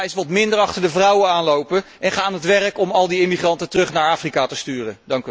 Maar ga eens wat minder achter de vrouwen aan lopen en ga aan het werk om al die immigranten terug naar Afrika te sturen.